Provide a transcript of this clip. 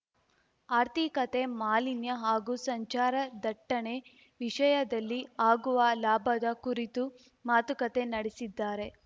ಆರ್ಥಿಕತೆ ಮಾಲಿನ್ಯ ಹಾಗೂ ಸಂಚಾರ ದಟ್ಟಣೆ ವಿಷಯದಲ್ಲಿ ಆಗುವ ಲಾಭದ ಕುರಿತು ಮಾತುಕತೆ ನಡೆಸಿದ್ದಾರೆ